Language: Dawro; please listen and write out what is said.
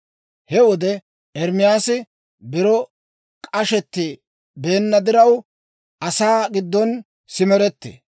He wode Ermaasi biro k'ashetti beenna diraw, asaa giddon simerettee.